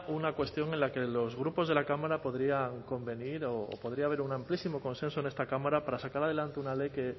una cuestión en la que los grupos de la cámara podrían convenir o podría haber un amplísimo consenso en esta cámara para sacar adelante una ley o